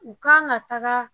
U kan ka taga